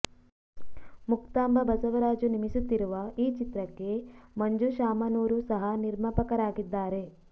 ಮುಕ್ತಾಂಭ ಬಸವರಾಜು ನಿಮಿಸುತ್ತಿರುವ ಈ ಚಿತ್ರಕ್ಕೆ ಮಂಜು ಶಾಮನೂರು ಸಹ ನಿರ್ಮಾಪಕರಾಗಿದ್ದಾರೆ